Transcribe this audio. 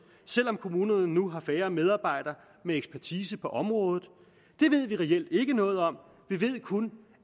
selv om kommunerne nu har færre medarbejdere med ekspertise på området det ved vi reelt ikke noget om vi ved kun